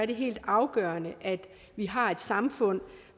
det helt afgørende at vi har et samfund